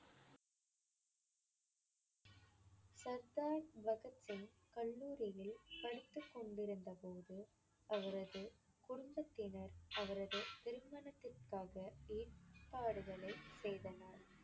சர்தார் பகத் சிங் கல்லூரியில் படித்துக் கொண்டிருந்தபோது அவரது குடும்பத்தினர் அவரது திருமணத்திற்காக ஏற்பாடுகளைச் செய்தனர்.